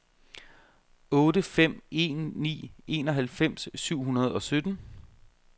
otte fem en ni enoghalvfems syv hundrede og sytten